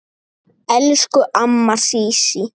Elsku amma Sísí.